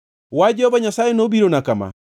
Wach Jehova Nyasaye nobirona kama: